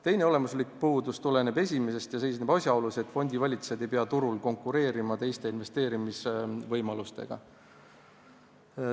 Teine olemuslik puudus tuleneb esimesest ja seisneb asjaolus, et fondivalitsejad ei pea turul konkureerima teiste investeerimisvõimalustega.